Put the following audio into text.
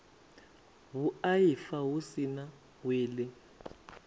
vhuaifa hu si na wili